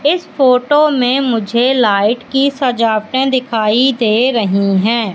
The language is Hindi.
इस फोटो में मुझे लाइट की सजावटें दिखाई दे रही हैं।